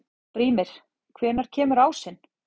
Brímir, hvenær kemur ásinn?